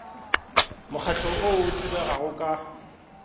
mokgahlo o o tsebegago ka